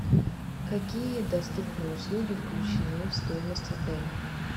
какие доступные услуги включены в стоимость отеля